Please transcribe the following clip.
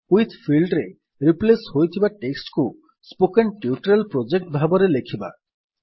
with field ରେ replace ହୋଇଥିବା text କୁ ସ୍ପୋକେନ୍ ଟ୍ୟୁଟୋରିଆଲ ପ୍ରୋଜେକ୍ଟ ଭାବରେ ଲେଖିବା